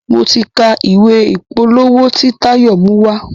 mọ tí ká ìwé ìpolówó t'in Tayo mu wá.